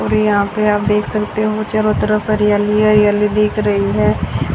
और यहां पे आप देख सकते हो चारो तरफ हरियाली ही हरियाली दिख रही है।